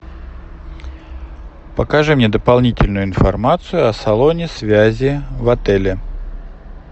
покажи мне дополнительную информацию о салоне связи в отеле